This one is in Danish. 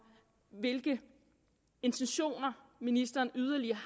hvilke intentioner ministeren yderligere